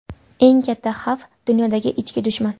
Eng katta xavf dunyoda ichki dushman.